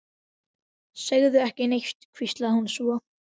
Segðu ekki neitt, hvíslaði hún svo.